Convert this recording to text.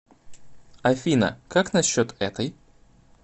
афина как насчет этой